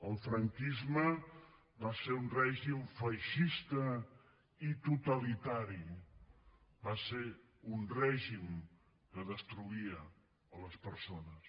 el franquisme va ser un règim feixista i totalitari va ser un règim que destruïa les persones